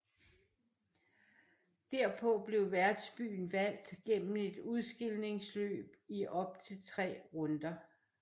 Derpå blev værtsbyen valgt gennem et udskilningsløb i op til tre runder